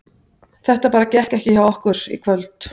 Þetta gekk bara ekki hjá okkur í kvöld.